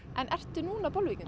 ertu núna Bolvíkingur